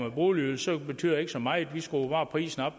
en boligydelse betyder det ikke så meget man skruer bare prisen